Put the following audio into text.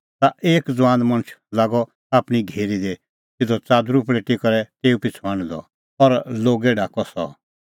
ता एक ज़ुआन मणछ लागअ आपणीं घेरी दी सिधअ च़ादरू पल़ेटी करै तेऊ पिछ़ू हांढदअ और लोगै ढाकअ सह